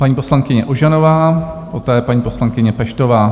Paní poslankyně Ožanová, poté paní poslankyně Peštová.